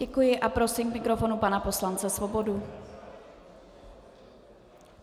Děkuji a prosím k mikrofonu pana poslance Svobodu.